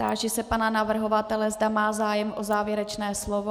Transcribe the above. Táži se pana navrhovatele, zda má zájem o závěrečné slovo.